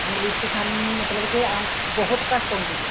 English ਸਾਨੂੰ ਮਤਲਬ ਕੇ ਬਹੁਤ ਘੱਟ ਆਉਂਦੀ ਏ